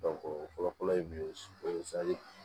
o fɔlɔ-fɔlɔ ye min ye o ye